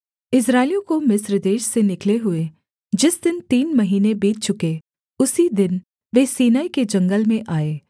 इस्राएलियों को मिस्र देश से निकले हुए जिस दिन तीन महीने बीत चुके उसी दिन वे सीनै के जंगल में आए